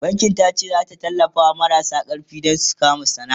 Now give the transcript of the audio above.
bankin tace zata tallafawa marasa karfi da ƙuɗi Dan su kama sana'a